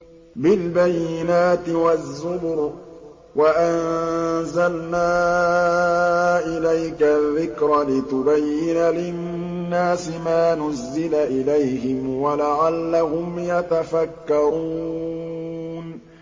بِالْبَيِّنَاتِ وَالزُّبُرِ ۗ وَأَنزَلْنَا إِلَيْكَ الذِّكْرَ لِتُبَيِّنَ لِلنَّاسِ مَا نُزِّلَ إِلَيْهِمْ وَلَعَلَّهُمْ يَتَفَكَّرُونَ